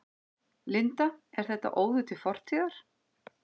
Linda: Er þetta óður til fortíðar?